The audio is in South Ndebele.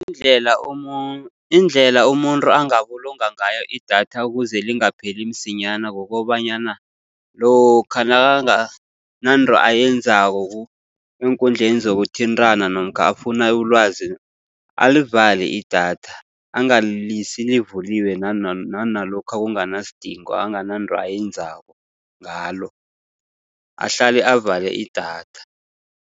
Indlela indlela umuntu angabulunga ngayo idatha ukuze lingapheli msinyana, kukobanyana lokha nakangananto ayenzako eenkundleni zokuthintana namkha afuna ulwazi alivale idatha. Angalilisi livuliwe nalokha kunganasidingo angananto ayenzako ngalo. Ahlale avale idatha.